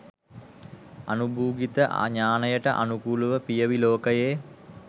අනුභූතික ඥානයට අනුකූලව පියවි ලෝකයේ